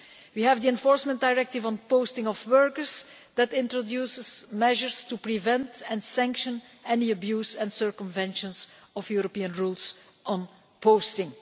We have the Enforcement Directive on posting of workers that introduces measures to prevent and penalise any abuses or circumventions of European rules on posting.